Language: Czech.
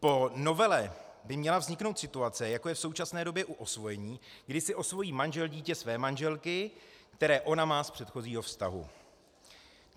Po novele by měla vzniknout situace, jako je v současné době u osvojení, kdy si osvojí manžel dítě své manželky, které ona má z předchozího vztahu.